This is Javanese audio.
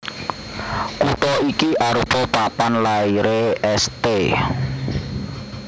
Kutha iki arupa papan lairé St